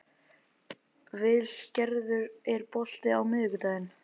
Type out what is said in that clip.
Vilgerður, er bolti á miðvikudaginn?